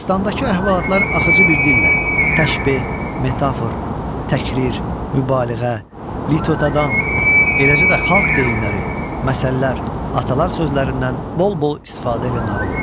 Dastandakı əhvalatlar axıcı bir dillə, təşbeh, metafor, təkrir, mübaliğə, litotadan, eləcə də xalq deyimləri, məsəllər, atalar sözlərindən bol-bol istifadə elə nağıl olunur.